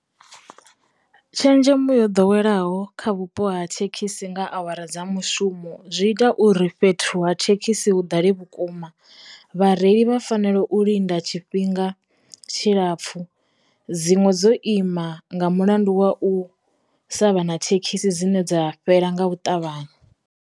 Tshenzhemo yo ḓoweleaho kha vhupo ha thekhisi nga awara dza mushumo zwi ita uri fhethu ha thekhisi hu ḓale vhukuma, vhareili vha fa fanela u linda tshifhinga tshilapfu, dziṅwe dzo ima nga mulandu wa u sa vha na thekhisi dzine dza fhela nga u ṱavhanya.